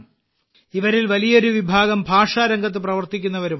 ഇവരിൽ വലിയൊരു വിഭാഗം ഭാഷാരംഗത്ത് പ്രവർത്തിക്കുന്നവരുമാണ്